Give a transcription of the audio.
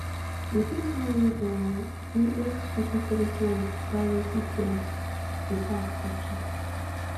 you fit wan read um di xcookie policyandprivacy policybefore accepting